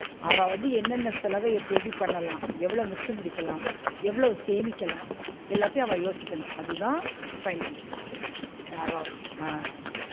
அவ வந்து என்ன என்ன செலவ எப்டி எப்டி பண்ணலாம், எவ்ள மிச்சம் பிடிக்கலாம், எவ்வளவு சேமிக்கலாம்? எல்லாத்தையும் அவ யோசிக்கணும் அதுதான் finance உச் அவ அஹ்